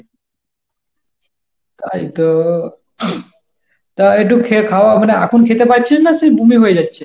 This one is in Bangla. তাই তো তা একটু খেয়ে খাওয়া মানে এখন খেতে পাচ্ছিস না সেই বমি হয়ে যাচ্ছে?